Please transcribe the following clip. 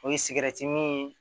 O ye sigɛrɛti min